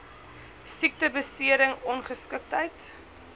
siekte besering ongeskiktheid